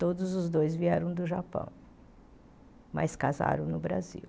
Todos os dois vieram do Japão, mas casaram no Brasil.